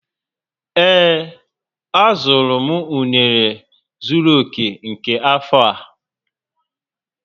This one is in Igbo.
Ee, a zọrọ m unere zuru oke nke afọ a